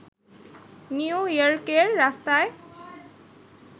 new ইয়র্কের রাস্তায়